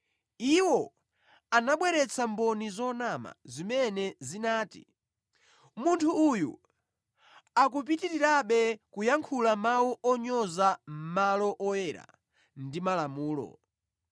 Iwo anabweretsa mboni zonama zimene zinati, “Munthu uyu akupitirirabe kuyankhula mawu onyoza malo oyera ndi malamulo.